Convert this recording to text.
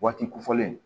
Waati kofɔlen